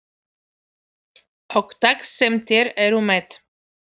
Og það sem þeir eru með.